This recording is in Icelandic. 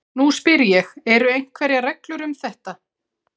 Nú spyr ég- eru einhverjar reglur um þetta?